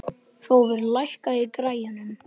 Hrólfur, lækkaðu í græjunum.